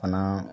Fana